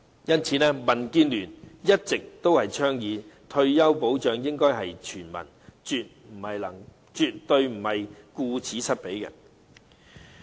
因此，民主建港協進聯盟一直倡議可獲退休保障的應該是全民，絕不能顧此失彼。